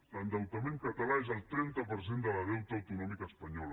l’endeutament català és el treinta per cent del deute autonòmic espanyol